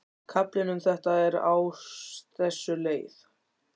Kaflinn um þetta er á þessa leið: